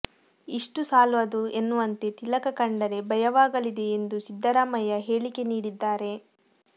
ಇಷ್ಟು ಸಾಲದು ಎನ್ನುವಂತೆ ತಿಲಕ ಕಂಡರೆ ಭಯವಾಗಲಿದೆ ಎಂದು ಸಿದ್ದರಾಮಯ್ಯ ಹೇಳಿಕೆ ನೀಡಿದ್ದಾರೆ